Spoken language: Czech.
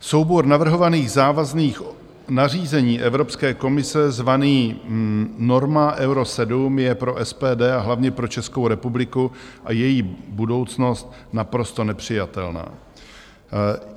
Soubor navrhovaných závazných nařízení Evropské komise zvaný norma Euro 7 je pro SPD, a hlavně pro Českou republiku a její budoucnost naprosto nepřijatelná.